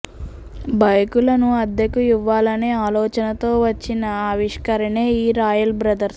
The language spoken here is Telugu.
బైకులను అద్దెకు ఇవ్వాలనే అలోచనతో వచ్చిన ఆవిష్కరణే ఈ రాయల్ బ్రదర్స్